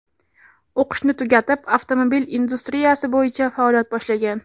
O‘qishni tugatib avtomobil industriyasi bo‘yicha faoliyat boshlagan.